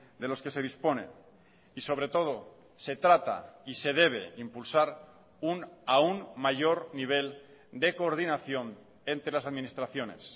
de los que se dispone y sobre todo se trata y se debe impulsar un aun mayor nivel de coordinación entre las administraciones